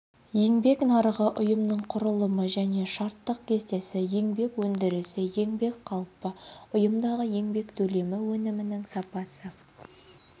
еңбек нарығы ұйымның құрылымы және штаттық кестесі еңбек өндірісі еңбек қалпы ұйымдағы еңбек төлемі өнімнің сапасы